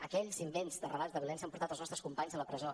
aquells invents de relats de violència han portat els nostres companys a la presó